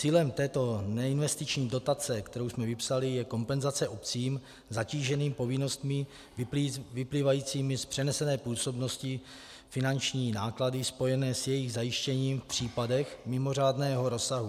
Cílem této neinvestiční dotace, kterou jsme vypsali, je kompenzace obcím zatíženým povinnostmi vyplývajícími z přenesené působnosti, finanční náklady spojené s jejich zajištěním v případech mimořádného rozsahu.